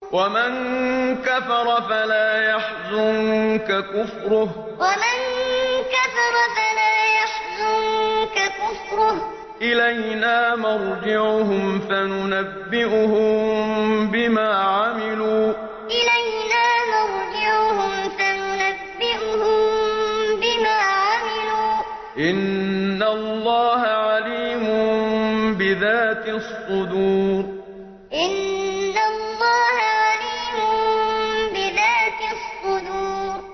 وَمَن كَفَرَ فَلَا يَحْزُنكَ كُفْرُهُ ۚ إِلَيْنَا مَرْجِعُهُمْ فَنُنَبِّئُهُم بِمَا عَمِلُوا ۚ إِنَّ اللَّهَ عَلِيمٌ بِذَاتِ الصُّدُورِ وَمَن كَفَرَ فَلَا يَحْزُنكَ كُفْرُهُ ۚ إِلَيْنَا مَرْجِعُهُمْ فَنُنَبِّئُهُم بِمَا عَمِلُوا ۚ إِنَّ اللَّهَ عَلِيمٌ بِذَاتِ الصُّدُورِ